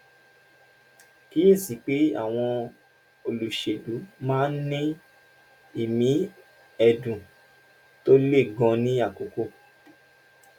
kíyè sí i pé àwọn olùṣèlú máa ń ní ìmí ẹ̀dùn tó le gan-an ní àkókò